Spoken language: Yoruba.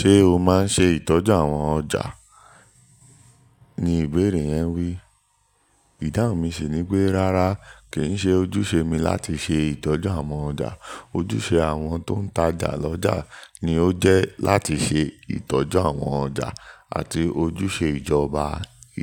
"Ṣé o máa ń ṣe ìtọ́jú àwọn ọjà?" ni ìbeérè yẹn wí. Ìdáhùn mi sì ni pé, "Rárá, kì í ṣe ojúṣe mi láti ṣe ìtọ́jú àwọn ọjà. Ojúṣe àwọn tó ń tajà lọ́jà ni ó jẹ́ láti ṣe ìtọ́jú àwọn ọjà, àti ojúṣe ìjọba